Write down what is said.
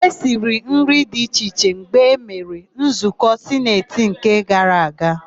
E siri nri dị iche iche mgbe emere nzụkọ sineti nke gara gara.